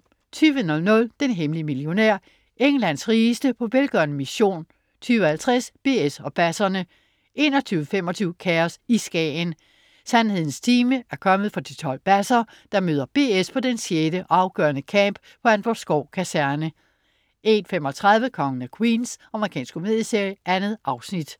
20.00 Den hemmelige millionær. Englands rigeste på velgørende mission 20.50 BS og basserne 21.25 Kaos i Skagen. Sandhedens time er kommet for de 12 basser, der møder BS på den sjette og afgørende camp på Antvorskov Kaserne 01.35 Kongen af Queens. Amerikansk komedieserie. 2 afsnit